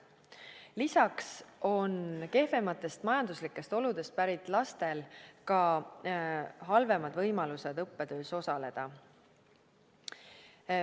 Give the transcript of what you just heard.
Lisaks on kehvematest majanduslikest oludest pärit lastel ka halvemad võimalused õppetöös osaleda.